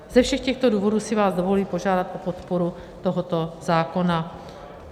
Ze všech těchto důvodů si vás dovoluji požádat o podporu tohoto zákona.